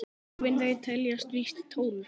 Hólfin þau teljast víst tólf.